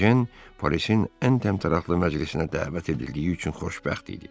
Ejen Parisin ən təmtəraqlı məclisinə dəvət edildiyi üçün xoşbəxt idi.